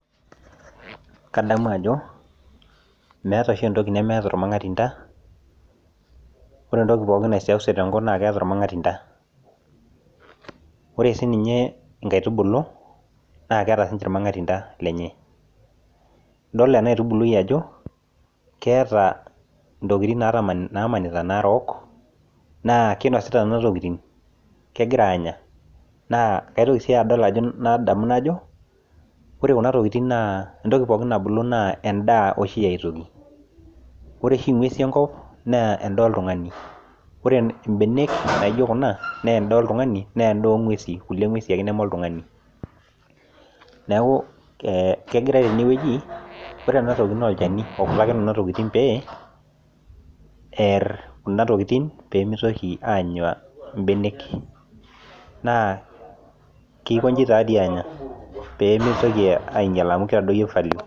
Kadamu Ajo meeta oshi entoki nemeeta ormang'atinda ore pooki toki naisewuseu tenkop naa keeta ormang'atinda ore sininje nkaitubulu naa keeta sininje ormang'atinda lenye edol enkaitubului Ajo keeta ntokitin namaanita narook naa kinosita Nena tokitin kegira Anya naa kaitoki sii adol nadamu naajo ore Kuna tokitin naa entoki muuj nabulu naa endaa oshi yaitoki ore oshi eng'uesi enkop naa endaa oltung'ani ore mbenek naijio Kuna naa endaa oltung'ani naa enda oo ng'uesi kulie ng'uesi ake neme oltung'ani neeku kegira tene wueji ore ele naa olchani okutakini Kuna tokitin pee er Kuna tokitin pee mitoki Anya mbenek naa keikoji anyaa pee mitoki ainyial amu keitadoyio value